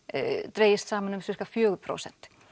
dregist saman um fjögur prósent